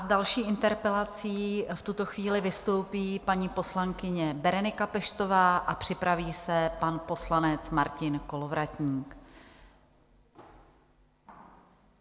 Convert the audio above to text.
S další interpelací v tuto chvíli vystoupí paní poslankyně Berenika Peštová a připraví se pan poslanec Martin Kolovratník.